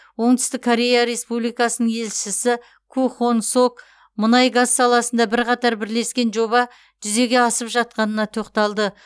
оңтүстік корея республикасының елшісі ку хонг сок мұнай газ саласында бірқатар бірлескен жоба жүзеге асып жатқанына тоқталды